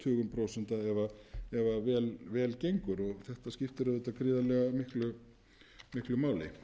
tugum prósenta ef vel gengur og þetta skiptir auðvitað gríðarlega miklu máli